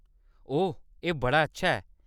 ओह्‌‌, एह्‌‌ बड़ा अच्छा ऐ!